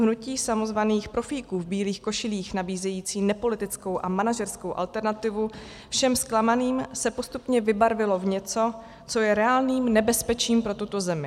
Hnutí samozvaných profíků v bílých košilích nabízejících nepolitickou a manažerskou alternativu všem zklamaným se postupně vybarvilo v něco, co je reálným nebezpečím pro tuto zemi.